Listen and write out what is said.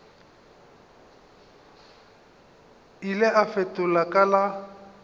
ile a fetola ka la